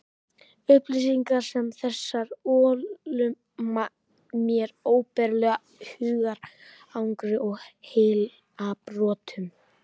Upplýsingar sem þessar ollu mér óbærilegu hugarangri og heilabrotum.